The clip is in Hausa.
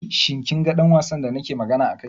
Shi kin ga ɗan wasan da nake magana a kai?